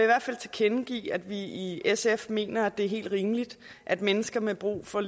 hvert fald tilkendegive at vi i sf mener at det er helt rimeligt at mennesker med brug for